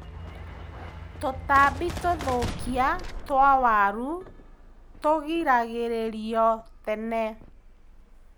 Tũtambi tũthũkia twa waru tũgiragĩrĩrio tene.